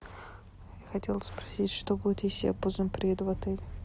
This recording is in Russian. хотела спросить что будет если я поздно приеду в отель